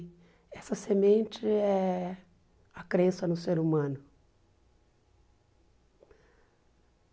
E essa semente é a crença no ser humano.